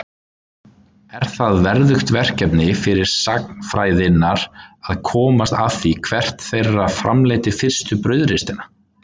Er það verðugt verkefni sagnfræðinnar að komast að því hvert þeirra framleiddi fyrstu brauðristina.